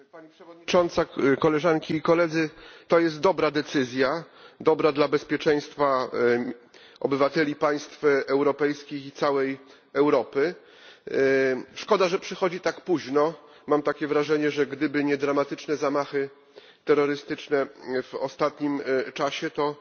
Pani Przewodnicząca! To jest dobra decyzja dla bezpieczeństwa obywateli państw europejskich i całej Europy. Szkoda, że przychodzi tak późno. Mam takie wrażenie, że gdyby nie dramatyczne zamachy terrorystyczne w ostatnim czasie,